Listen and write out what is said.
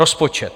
Rozpočet.